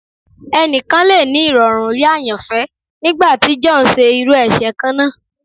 Ẹnikan le ni irọrun rii ayanfẹ nigbati John ṣe iru ẹṣẹ kanna